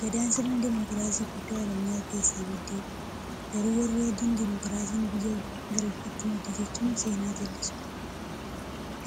Gadaan sirna dimokiraasii guddaa oromiyaa keessaa maddeedha. Garuu warri Adiin, demokiraasiin biyya Girikiitii madde jechuun seenaa jallisu.